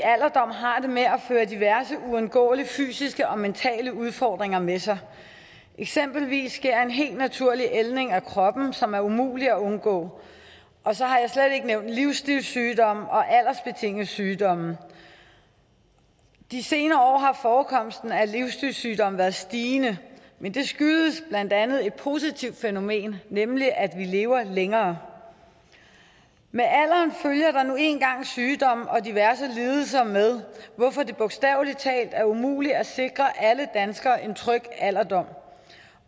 har det med at føre diverse uundgåelige fysiske og mentale udfordringer med sig eksempelvis sker der en helt naturlig ældning af kroppen som er umulig at undgå og så har jeg slet ikke nævnt livsstilssygdomme og aldersbetingede sygdomme de senere år har forekomsten af livsstilssygdomme været stigende men det skyldes blandt andet et positivt fænomen nemlig at vi lever længere med alderen følger der nu engang sygdomme og diverse lidelser hvorfor det bogstavelig talt er umuligt at sikre alle danskere en tryg alderdom